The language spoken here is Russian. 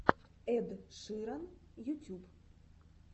эд ширан ютюб